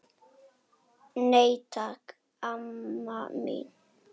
Nei, takk, amma mín.